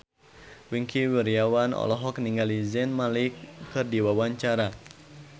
Wingky Wiryawan olohok ningali Zayn Malik keur diwawancara